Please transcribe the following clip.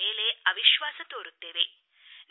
ಅವರ ಮೇಲೆ ಅವಿಶ್ವಾಸ ತೋರುತ್ತೇವೆ